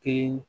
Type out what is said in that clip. Te